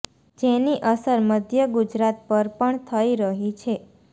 જેની અસર મધ્ય ગુજરાત પર પણ થઇ રહી છે